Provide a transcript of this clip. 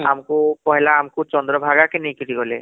ଆମକୁ ପହିଲା ଆମକୁ ଚନ୍ଦ୍ର ଭାଗାକେ ନେଇକିରି ଗଲେ